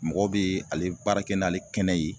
Mɔgɔw be ale baara kɛ n'ale kɛnɛ ye